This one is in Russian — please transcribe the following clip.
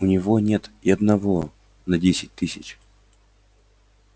у него нет и одного на десять тысяч